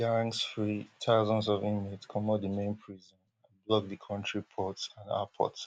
gangs free thousands of inmates comot di main prison and block di kontri ports and arport